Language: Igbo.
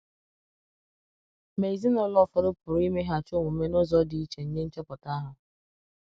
Ma ezinụlọ ụfọdụ pụrụ imeghachi omume n’ụzọ dị iche nye nchọpụta ahụ.